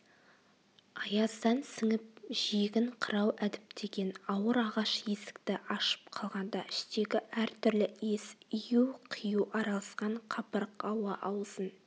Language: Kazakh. аяздан сініп жиегін қырау әдіптеген ауыр ағаш есікті ашып қалғанда іштегі әртүрлі иіс ию-қию араласқан қапырық ауа аузын